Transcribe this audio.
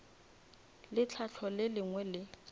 le tlhahlo le lengwe le